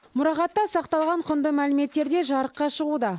мұрағатта сақталған құнды мәліметтер де жарыққа шығуда